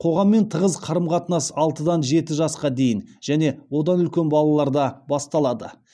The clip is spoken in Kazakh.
қоғаммен тығыз қарым қатынас алтыдан жеті жасқа дейінгі және одан үлкен балаларда басталады